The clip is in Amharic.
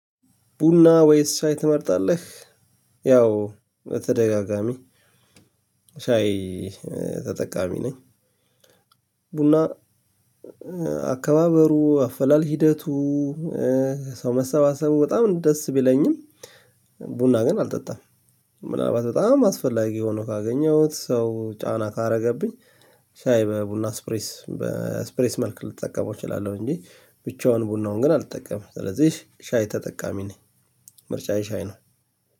ቡና ወይስ ሻይ ትመርጣለህ? ያው በተደጋጋሚ ሻይ ተጠቃሚ ነኝ። ቡና አካባበሩ፣ አፈላል ሂደቱ፣ ሰው መሰባሰቡ በጣም ደስ ቢለኝም ቡና ግን አልጠጣም። ምናልባት በጣም አስፈላጊ ሆኖ ካገኘሁት ሰው ጫና ካረገብኝ ሻይ በቡና ስፕሬስ በስፕሬስ መልክ ልጠቀመው እችላለው እንጂ ብቻውን ቡናውን ግን አልተጠቀምም። ስለዚህ ሻይ ተጠቃሚ ነኝ። ምርጫዬ ሻይ ነው።